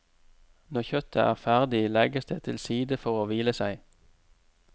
Når kjøttet er ferdig, legges det til side for å hvile seg.